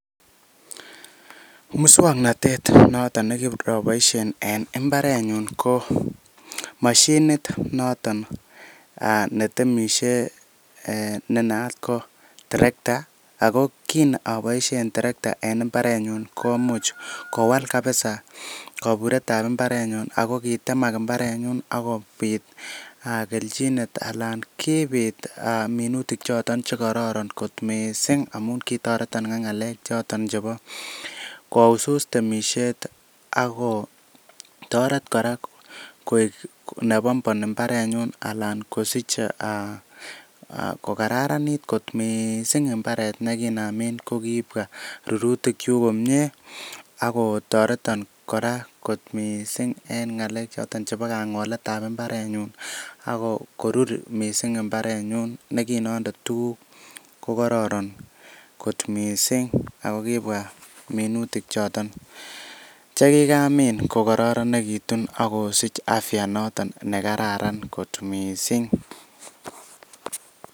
Muswoknatet noton nekiroboiisien en mbarenyun ko moshinit noton netemishe ne naat ko tarekta, ago kin aboishen terekta en mbarenyun komuch kowal kabisa koburetab mbarenyun, ago kitemak mbarenyun ak kobit kelchinet anan kibit wolutik choton che kororon kot mising amun kitoreton ak ng'alek choton chebo kousus temisiet ak ko toret kora koik ne bonbon mbarenyun alan kosich kokararanit kot mising mbaret ne kinamin ko kibwa rurutikyuk komie ak kotoreton kora kot mising en ng'alek choton chebo kang'olet ab mbarenyun ak korur mising mbarenyun ne kin onde tuguk ko kororon kot miisng ago kibwa minutik choton che kigamin kokororonegitun ak kosich afya noton ne kararan kot mising.